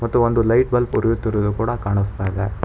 ಮತ್ತು ಒಂದು light bulb ಹುರಿಯುತ್ತಿರುವುದು ಕಾಣಿಸ್ತಾ ಇದೆ.